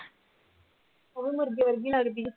ਉਹ ਵੀ ਮੁਰਗੇ ਵਰਗੀ ਲੱਗਦੀ ਹੈ